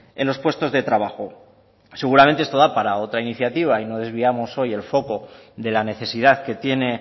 en los puestos de trabajo seguramente esto da para otra iniciativa y no desviamos hoy el foco de la necesidad que tiene